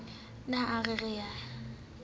ne a re re ye